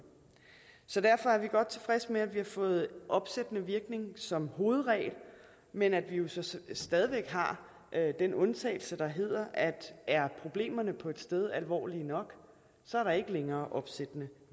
så derfor er vi godt tilfredse med at vi har fået opsættende virkning som hovedregel men at vi jo så stadig væk har den undtagelse der hedder at er problemerne på et sted alvorlige nok er der ikke længere opsættende